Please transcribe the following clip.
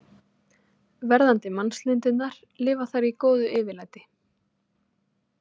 Verðandi mannslundirnar lifa þar í góðu yfirlæti.